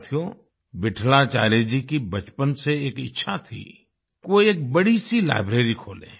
साथियो विट्ठलाचार्य जी की बचपन से एक इच्छा थी कि वो एक बड़ी सी लाइब्रेरी खोलें